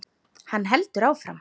Hann heldur áfram.